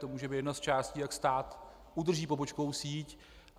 To může být jedna z částí, jak stát udrží pobočkovou síť.